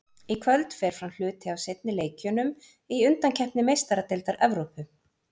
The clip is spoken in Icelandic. Í kvöld fer fram hluti af seinni leikjunum í undankeppni Meistaradeildar Evrópu.